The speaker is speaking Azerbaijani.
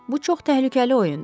Bu çox təhlükəli oyundur.